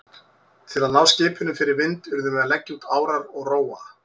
Til að ná skipinu fyrir vind urðum við að leggja út árar og róa.